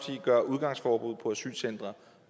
gøre udgangsforbud på asylcentre